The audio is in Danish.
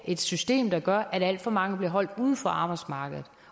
et system der gør at alt for mange bliver holdt uden for arbejdsmarkedet